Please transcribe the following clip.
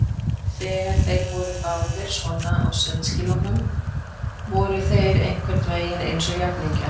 Þegar þeir voru báðir svona á sundskýlunum voru þeir einhvern veginn eins og jafningjar.